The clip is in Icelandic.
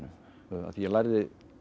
því ég lærði